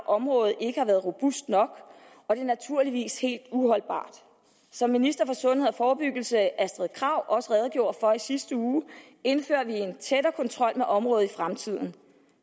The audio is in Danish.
området ikke har været robust nok og det er naturligvis helt uholdbart som ministeren for sundhed og forebyggelse fru astrid krag også redegjorde for i sidste uge indfører vi en tættere kontrol med området i fremtiden